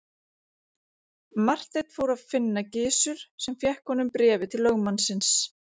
Marteinn fór að finna Gizur sem fékk honum bréfið til lögmannsins.